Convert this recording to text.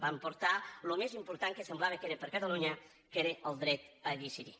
van portar el més important que semblava que era per a catalunya que era el dret a decidir